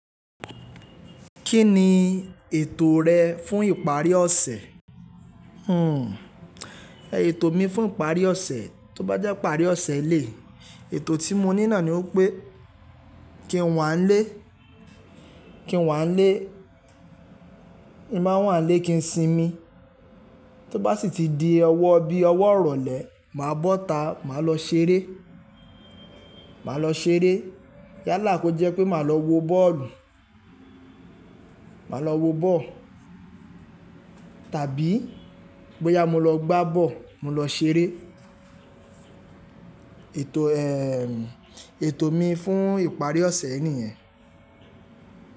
Kí ni ètò rẹ fún ìparí ọ̀sẹ̀? Hmm, ètò mi fún ìparí ọ̀sẹ̀, tó bá jẹ́ ìparí ọ̀sẹ̀ eleyii, ètò tí mo ní nàá ni pé kí n wá ń lé, kí n wá ń lé. Ti n ba wá lé kí n sinmi. Tó bá sì ti di ọwọ́ bí ọwọ́ ìrọ̀lẹ́, màá bọ́ta, màá lọ ṣeré. Màá lọ ṣeré. Yálà kó jẹ́ pé màá lọ wo bọ́ọ̀lù. Màá lọ wo bọ́ọ̀lù. Tàbí bóyá mo lọ gbá bọ́ọ̀lù, mo lọ ṣeré. Ètò, ehhen, ètò mi fún ìparí ọ̀sẹ̀ yii nìyẹn.